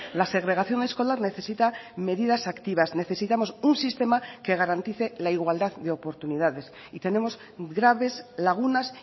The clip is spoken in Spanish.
la segregación escolar necesita medidas activas necesitamos un sistema que garantice la igualdad de oportunidades y tenemos graves lagunas